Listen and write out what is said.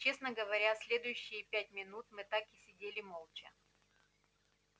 честно говоря следующие пять минут мы так и сидели молча